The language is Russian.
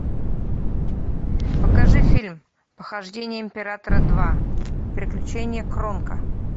покажи фильм похождения императора два приключения кронка